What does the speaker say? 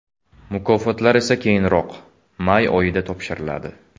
Mukofotlar esa keyinroq, may oyida topshiriladi.